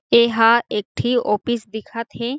ऐ हा एक ठी ऑफिस दिखत हे।